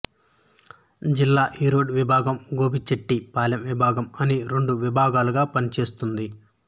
జిల్లా ఈరోడ్ విభాగం గోబిచెట్టి పాలెం విభాగం అని రెండు విభాగాలుగా పనిచేస్తుంది